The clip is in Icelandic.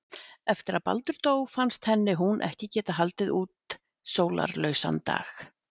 Eftir að Baldur dó fannst henni hún ekki geta haldið út sólarlausan dag.